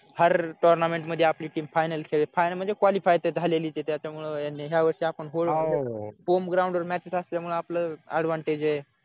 tournament मध्ये आपली team final खेळ final म्हणजे qualify तर झालेलीच आहे त्याच्यामुळे यांनी यावर्षी home ground वर matches असल्यामुळे आपला advantage आहे